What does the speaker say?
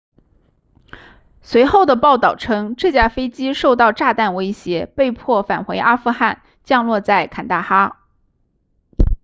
随后的报道称这架飞机受到炸弹威胁被迫返回阿富汗降落在坎大哈